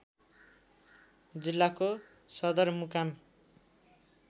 जिल्लाको सदरमुकाम